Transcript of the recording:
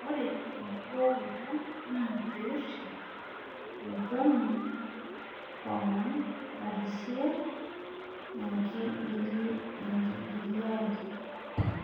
ore enkibooroto naa pee irip olchoni, arishe eng'igiai